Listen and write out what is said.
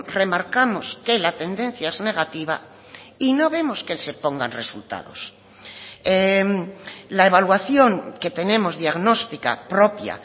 remarcamos que la tendencia es negativa y no vemos que se pongan resultados la evaluación que tenemos diagnóstica propia